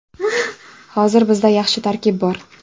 Hozir bizda yaxshi tarkib bor.